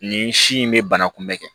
Nin si in bɛ bana kunbɛn kɛ